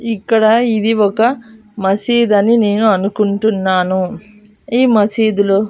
ఇక్కడ ఇది ఒక మసీదు అని నేను అనుకుంటున్నాను ఈ మసీదులో --